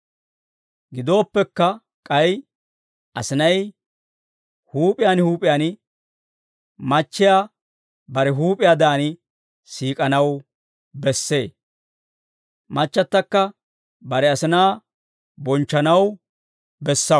Gidooppekka, k'ay asinay huup'iyaan huup'iyaan machchiyaa bare huup'iyaadan siik'anaw bessee; machchattakka bare asinaa bonchchanaw bessee.